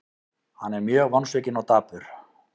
Hann er mjög vonsvikinn og dapur.